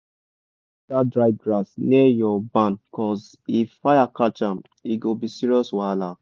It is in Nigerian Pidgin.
cut all dat dry grass near your barn cuz if fire catch am e go be serious wahala.